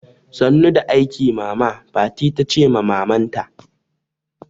Sannu da aiki mama, fati tace ma maman ta